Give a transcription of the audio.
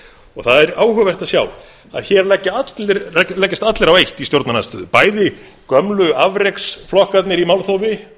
og það er áhugavert að sjá að hér leggjast allir á eitt í stjórnarandstöðu bæði gömlu afreksflokkarnir í málþófi